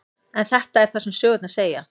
En þetta er það sem sögurnar segja.